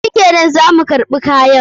Shikenan, za mu karɓi kayan.